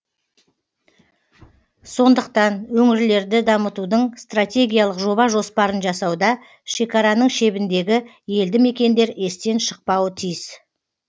сондықтан өңірлерді дамытудың стратегиялық жоба жоспарын жасауда шекараның шебіндегі елді мекендер естен шықпауы тиіс